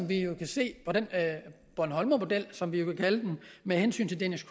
vi kan se på bornholmermodellen som vi kan kalde den med hensyn til danish